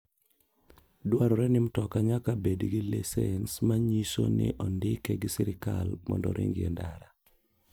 Dwarore ni mtoka nyaka bed gi lisens manyio ni ondike gi sirkal mondo oring e ndara.